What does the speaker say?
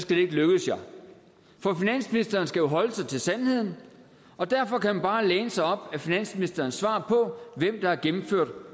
det ikke lykkes jer for finansministeren skal holde sig til sandheden og derfor kan man bare læne sig op ad finansministerens svar på hvem der har gennemført